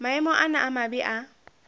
maemo ana a mabe a